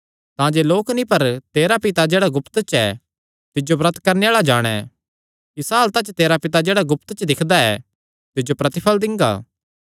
तांजे लोक नीं पर तेरा पिता जेह्ड़ा गुप्त च ऐ तिज्जो ब्रत करणे आल़ा जाणे इसा हालता च तेरा पिता जेह्ड़ा गुप्त च दिक्खदा ऐ तिज्जो प्रतिफल़ दिंगा